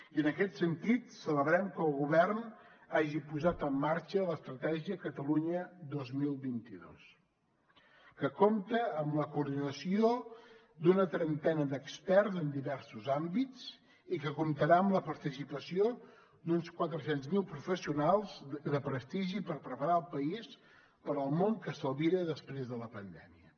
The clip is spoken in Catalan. i en aquest sentit celebrem que el govern hagi posat en marxa l’estratègia catalunya dos mil vint dos que compta amb la coordinació d’una trentena d’experts en diversos àmbits i que comptarà amb la participació d’uns quatre cents miler professionals de prestigi per preparar el país per al món que s’albira després de la pandèmia